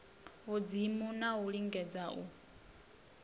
vhudzimu na u lingedza u